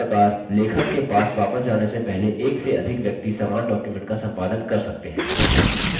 इस प्रकार लेखक के पास वापस जाने से पहले एक से अधिक व्यक्ति समान डॉक्युमेंट का संपादन कर सकते हैं